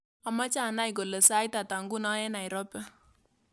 Amache anai kole sait ata nguno eng Nairobi